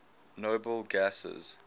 noble gases